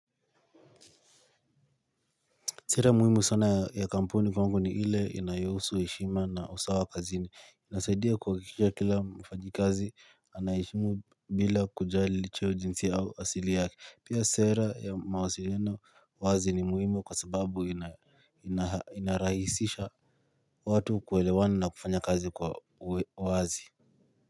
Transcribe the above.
Sera muhimu sana ya kampuni kwangu ni ile inayohusu heshima na usawa kazini. Inasaidia kuhakikisha kila mfanyikazi anaishi bila kujali licha ya ujinsi au asili yake. Pia sera ya mawasiliano wazi ni muhimu kwa sababu ina inarahisisha watu kuelewana na kufanya kazi kwa wazi.